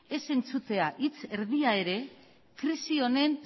ez entzutea hitz erdia ere krisi honen